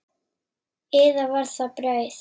Eða var það brauð?